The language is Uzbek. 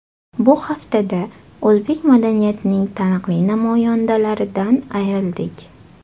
Bu haftada o‘zbek madaniyatining taniqli namoyandalaridan ayrildik.